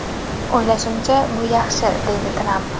O‘ylashimcha, bu yaxshi”, deydi Tramp.